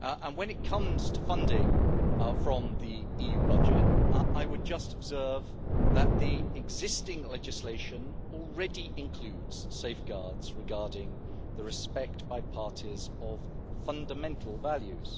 When it comes to funding from the EU budget, I would just observe that the existing legislation already includes safeguards regarding the respect by parties of fundamental values.